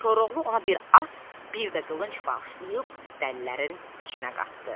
Koroğlu ona bir at, bir də qılınc bağışlayıb dəlilərin içinə qatdı.